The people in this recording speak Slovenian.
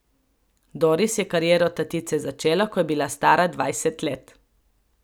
Doris je kariero tatice začela, ko je bila stara dvajset let.